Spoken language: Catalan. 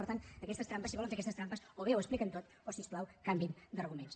per tant aquestes trampes si volen fer aquestes trampes o bé ho expliquen tot o si us plau canviïn d’arguments